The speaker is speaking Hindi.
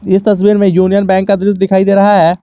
इस तस्वीर में यूनियन बैंक का दृश्य दिखाई दे रहा है।